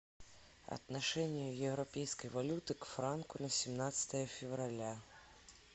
отношение европейской валюты к франку на семнадцатое февраля